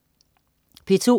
P2: